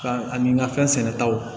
Ka ani n ka fɛn sɛnɛ taw